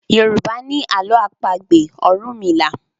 Yorùbá ni àlọ́ àpagbè orunmila.